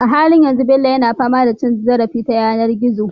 A halin yanzu Bello yana fama da cin zarafi ta yanar gizo